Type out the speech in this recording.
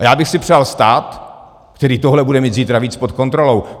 A já bych si přál stát, který tohle bude mít zítra víc pod kontrolou.